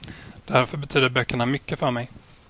Därför betyder böckerna mycket för mig.